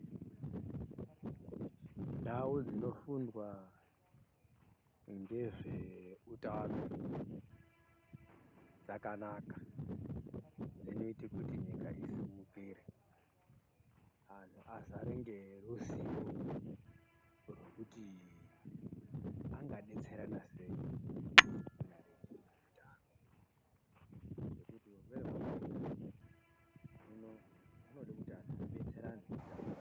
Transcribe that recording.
Ndau dzinofundwa ngezveutano dzakanaka dzinoite kuti nyika isimukire anhu azare ngeruziwo rwekuti angadetserane sei maringe neutano ngekuti urwere hwakauya hino zvinode kuti anhu abetserane kuti vodini.